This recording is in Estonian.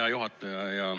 Hea juhataja!